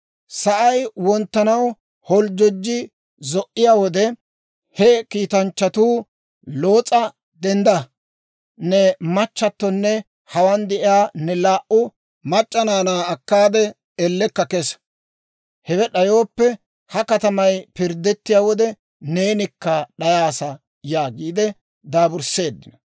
Sa'ay wonttanaw holjjojji zo"iyaa wode, he kiitanchchatuu Loos'a, «Dendda! Ne machchattonne hawaan de'iyaa ne laa"u mac'c'a naanaa akkaade elleella kesa! Hewe d'ayooppe, ha katamay pirddettiyaa wode neenikka d'ayaassa» yaagiide dirbbiseeddino.